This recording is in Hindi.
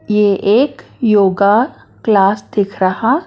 यह एक योगा क्लास दिख रहा--